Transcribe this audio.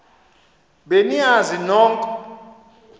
be niyazi nonk